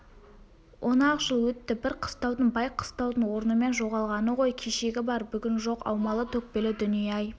он-ақ жыл өтті бір қыстаудың бай қыстаудың орнымен жоғалғаны ғой кешегі бар бүгін жоқ аумалы-төкпелі дүние-ай